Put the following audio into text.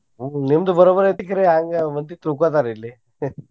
ನಿಮ್ದ್ ಬರೋಬರ್ ಐತಿ ಕರೆ ಹಂಗ ಮಂದಿ ತಿಳ್ಕೊತಾರ ಇಲ್ಲಿ .